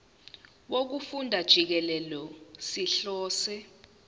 wokufunda jikelele sihlose